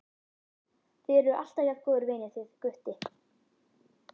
Þið eruð alltaf jafn góðir vinir þið Gutti?